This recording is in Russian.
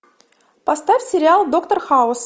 поставь сериал доктор хаус